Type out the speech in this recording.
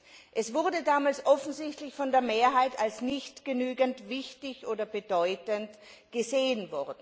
Diese Frage wurde damals offensichtlich von der Mehrheit als nicht genügend wichtig oder bedeutend angesehen.